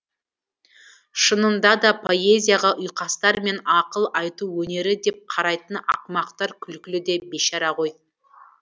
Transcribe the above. шынында да поэзияға ұйқастар мен ақыл айту өнері деп қарайтын ақымақтар күлкілі де бейшара ғой